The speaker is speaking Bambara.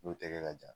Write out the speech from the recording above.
N'o tɛgɛ ka jan